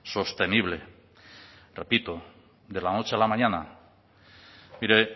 sostenible repito de la noche a la mañana mire